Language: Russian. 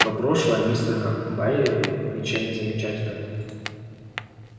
но прошлое мистера байерли ничем не замечательно